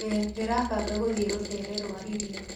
ĩĩ, ndĩrabanga gũthie rũteere rwa iria